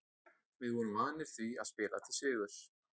Við vorum vanir því að spila til sigurs.